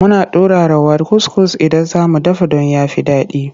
Muna turara kuskus idan za mu dafa don ya fi daɗi.